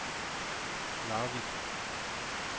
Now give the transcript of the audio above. Larvik